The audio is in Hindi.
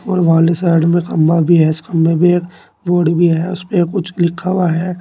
और साइड में खंबा भी है इस खंबे एक बोर्ड भी है उसपे कुछ लिखा हुआ है।